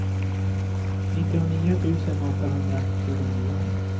nittionio tusen åttahundratjugonio